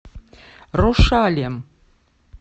рошалем